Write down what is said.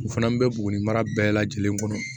U fana bɛ bugun mara bɛɛ lajɛlen kɔnɔ